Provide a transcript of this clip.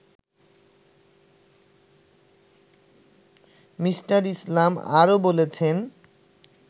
me: Islam আরও বলেছেন